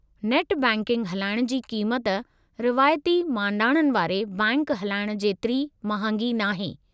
Net banking हलाइणु जी क़ीमत रिवायती मांडाणनि वारे बैंकि हलाइण जेतिरी महांगी नाहे।